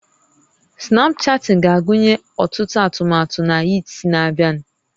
Snapchatting ga-agụnye ọtụtụ atụmatụ na Yeats na-abịa